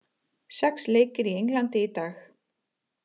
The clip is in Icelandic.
Sex leikir í Englandi í dag